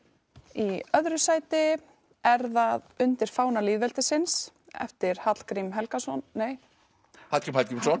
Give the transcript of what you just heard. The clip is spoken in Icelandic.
í öðru sæti er það undir fána lýðveldisins eftir Hallgrím Helgason nei Hallgrím Hallgrímsson